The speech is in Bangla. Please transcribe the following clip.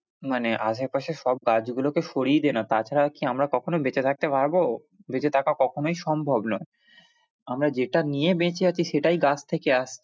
মানে আশেপাশে সব গাছ গুলোকে সরিয়ে দে না তাছাড়া কি আমরা কখনো বেঁচে থাকতে পারবো, বেঁচে থাকা কখনোই সম্ভব নয়, আমরা যেটা নিয়ে বেঁচে আছি সেটাই গাছ থেকে আসছে।